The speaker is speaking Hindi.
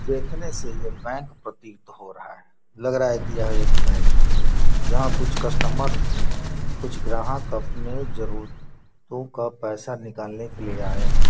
देखने से ये बैंक प्रतीत हो रहा है लग रहा है कि यह एक बैंक है जहाँ कुछ कस्टमर कुछ ग्राहक अपने जरुरतो का पैसा निकालने के लिए आए हैं।